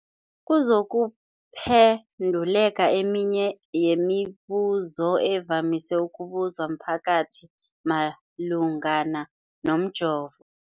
kuzokuphe nduleka eminye yemibu zo evamise ukubuzwa mphakathi malungana nomjovo.